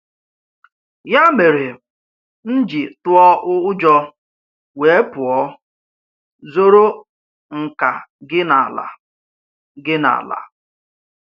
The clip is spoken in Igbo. Ya mere, m ji tụọ ụjọ wee pụọ, zoro nkà gị n’ala. gị n’ala.